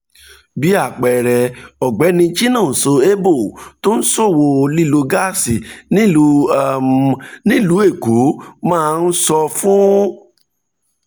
bí àpẹẹrẹ ọ̀gbẹ́ni chinoso eboh tó ń ṣòwò lílo gáàsì nílùú um èkó máa ń um sọ fún